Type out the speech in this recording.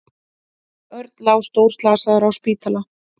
Örn lá stórslasaður á spítala.